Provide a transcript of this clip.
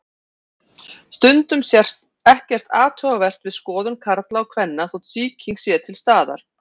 Stundum sést ekkert athugavert við skoðun karla og kvenna þótt sýking sé til staðar.